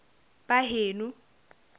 baheno